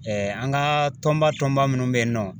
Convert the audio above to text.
an ka tɔnba tɔnba munnu bɛ yen nɔ.